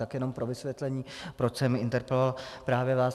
Tak jenom pro vysvětlení, proč jsem interpeloval právě vás.